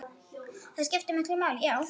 Það skiptir miklu máli, já.